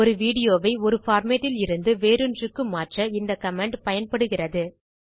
ஒரு வீடியோவை ஒரு பார்மேட் லிருந்து வேறொன்றுக்கு மாற்ற இந்த கமாண்ட் பயன்படுகிறது